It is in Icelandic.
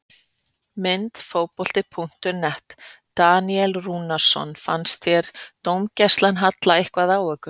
Mynd: Fótbolti.net- Daníel Rúnarsson Fannst þér dómgæslan halla eitthvað á ykkur?